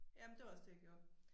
Ja men det var også det jeg gjorde